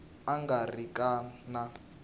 a nga ri ki na